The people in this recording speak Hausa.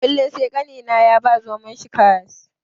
Kullum sai ƙanina ya ba zomon shi karas.